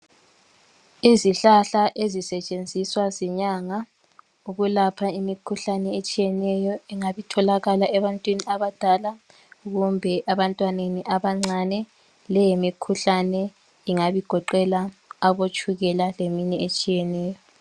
Izihlahla ezisetshenziswa zinyanga ukwelapha imikhuhlane etshiyeneyo engabe itholakala ebantwini abadala kumbe ebantwaneni abancane leyi yi mikhuhlane ingabe igoqela abotshukela leminye etshiyeneyo.